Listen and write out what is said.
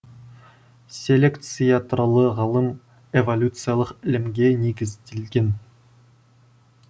селекция туралы ғылым эволюциялық ілімге негізделген